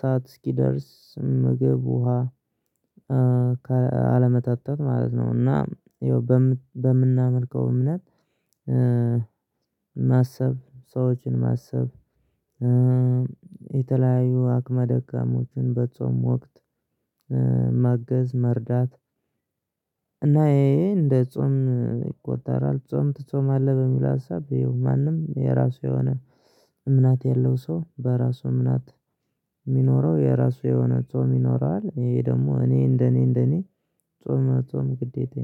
ሰዓት እስኪደርስ ምግብ ውሃ አለመጠጣት ማለት ነው። እና ይኸው በምን በምናመልከው እምነት ማሰብ ሰዎችን ማሰብ የተለያዩ አቅመ ደካሞችን በጾም ወቅት ማገዝ መርዳት እና ይሄ ሄ እንደ ጾም ይቆጠራል። ጾም ትጾማለህ በሚለው ሀሳብ በይው ማንም የራሱ የሆነ እምነት ያለው ሰው በራሱ እምናት የሚኖረው የራሱ የሆነ ጾም ይኖረዋል። ይሄ ደግሞ እኔ እንደኔ እንደኔ ጾም መጾም ግዴታዬ ነው